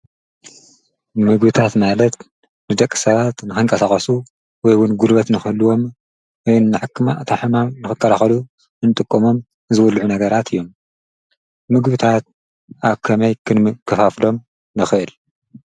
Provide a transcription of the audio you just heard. ምግብታት ማለት ንደቂ ሰባት ንክንቃሳቀሱ ወይ ድማ ጉልበት ንክህልዎም ወይ ድማ ካብ ሕማም ንክካለከሉ እንጥቀመሎም ዝብልዑ ነገራት እዮም። ምግብታት ኣብ ከመይ ክንከፋፍሎም ንክእል?